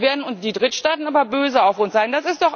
Da werden die Drittstaaten aber böse auf uns sein.